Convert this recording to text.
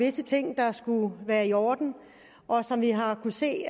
visse ting der skulle være i orden som vi har kunnet se